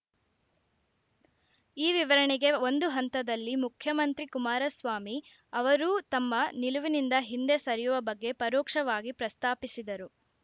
ಈ ವಿವರಣೆಗೆ ಒಂದು ಹಂತದಲ್ಲಿ ಮುಖ್ಯಮಂತ್ರಿ ಕುಮಾರಸ್ವಾಮಿ ಅವರೂ ತಮ್ಮ ನಿಲುವಿನಿಂದ ಹಿಂದೆ ಸರಿಯುವ ಬಗ್ಗೆ ಪರೋಕ್ಷವಾಗಿ ಪ್ರಸ್ತಾಪಿಸಿದರು